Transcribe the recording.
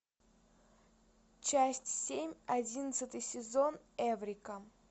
часть семь одиннадцатый сезон эврика